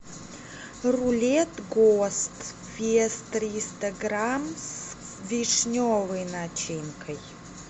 рулет гост вес триста грамм с вишневой начинкой